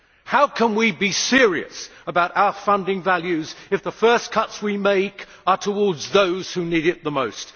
How can we be serious about our funding values if the first cuts we make are towards those who need it the most?